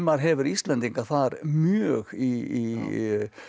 hefur Íslendinga þar mjög í